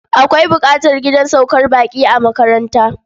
Akwai buƙatar gidan saukar baƙi a makaranta.